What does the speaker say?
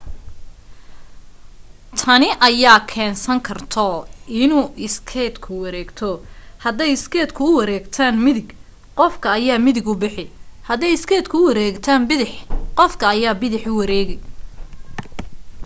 tani ayaa u keensan karto inuu iskeytka wareegto hadday iskeytka u wareegtaan midig qofka ayaa midig u bixi haday iskeytka u wareegtaan bidax qofka ayaa bidax u wareegi